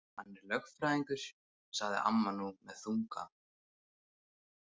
Hann er lögfræðingur, sagði amma nú með þunga.